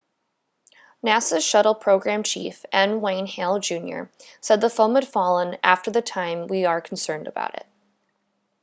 nasa's shuttle program chief n wayne hale jr said the foam had fallen after the time we are concerned about